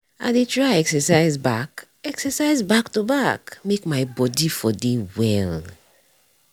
i dey try exercise back exercise back to back make my body for dey well.